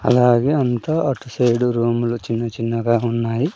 అలాగే అంతా అటు సైడ్ రూములు చిన్న చిన్నగా ఉన్నాయి.